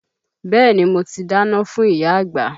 Bẹ́ẹ̀ni mo ti dáná fún ìyá àgbà